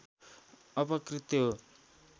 अपकृत्य हो